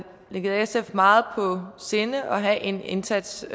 ligger sf meget på sinde at have en indsats